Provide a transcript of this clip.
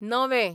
नवें